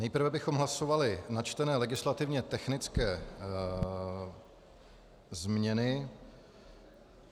Nejprve bychom hlasovali načtené legislativně technické změny.